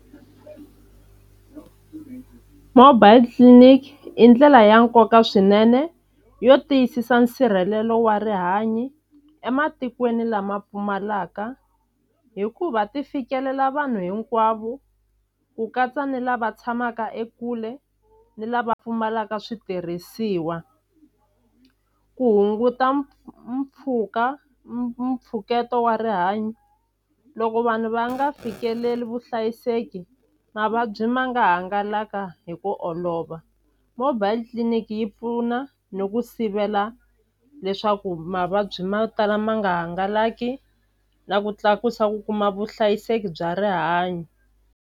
Mobile clinic i ndlela ya nkoka swinene yo tiyisisa nsirhelelo wa rihanyo ematikweni lama pfumalaka hikuva ti fikelela vanhu hinkwavo ku katsa ni lava tshamaka ekule ni lava pfumalaka switirhisiwa ku hunguta mpfhuka mpfhuketo wa rihanyo loko vanhu va nga fikeleli vuhlayiseki mavabyi ma nga hangalaka hi ku olova mobile tliliniki yi pfuna ni ku sivela leswaku mavabyi mo tala ma nga hangalaki na ku tlakusa ku kuma vuhlayiseki bya rihanyo.